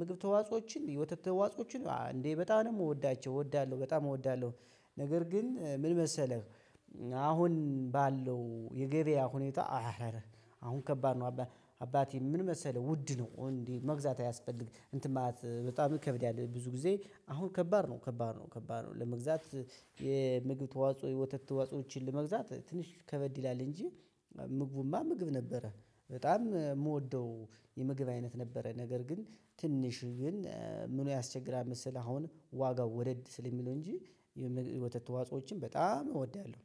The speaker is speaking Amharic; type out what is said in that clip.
ምግብ ተዋጾችን የወተት ተዋጾችን እንዴ በጣም ነው የምወዳቸው እወዳለሁ በጣም እወዳለሁ። ነገር ግን ምን መሰለህ? አሁን ባለው የገበያ ሁኔታ አረረ አሁን ከባድ ነው። አባቴ አባቴ ምን መሰለህ ውድ ነው እንዴ መግዛት አያስፈልግም እንትን ማለት በጣም ይከብዳል። ብዙ ጊዜ አሁን ከባድ ነው ከባድ ነው ከባድ ነው ለመግዛት። የምግብ ተዋጽኦ የወተት ተዋጽኦዎችን ለመግዛት ትንሽ ከበድ ይላል። እንጂ ምግቡማ ምግብ ነበረ በጣም ምወደው የምግብ አይነት ነበረ። ነገር ግን ትንሽ ግን ምኑ ያስቸግራል መሰለህ አሁን ዋጋው ወደድ ስለሚለው እንጂ። የወተት ተዋጾችን በጣም እወዳለሁ